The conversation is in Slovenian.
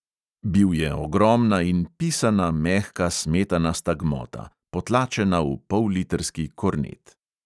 Bil je ogromna in pisana mehka smetanasta gmota, potlačena v pollitrski kornet.